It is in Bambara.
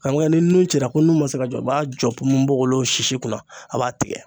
Karamɔgɔkɛ ni nun cira ko nun man se ka jɔ i b'a jɔ nunbogolo sisi kunna a b'a tigɛ.